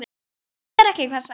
Hún nefnir ekki hvers vegna.